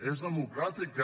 és democràtica